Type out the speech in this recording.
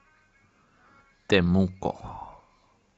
темуко